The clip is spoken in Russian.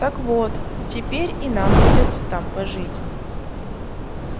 так вот теперь и нам придётся там пожить